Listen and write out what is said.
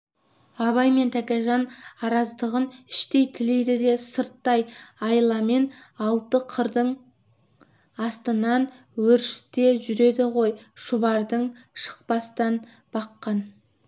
абай мен тәкежан араздығын іштей тілейді де сырттай айламен алты қырдың астынан өршіте жүреді ғой шұбардың шықпастан баққан